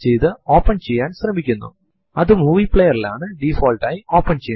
ഈ ഓപ്ഷൻ ന്റെ fields നെ പറ്റിയുള്ള വിവരണം ഈ ടുടോരിയലിന്റെ സാദ്ധ്യതകൾക്കും അപ്പുറത്താണ്